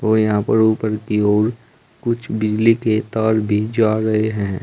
और यहां पर ऊपर की ओर कुछ बिजली के तार भी जा रहे हैं।